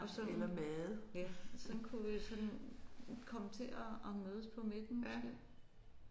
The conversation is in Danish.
Og så ja sådan kunne vi sådan komme til at at mødes på midten måske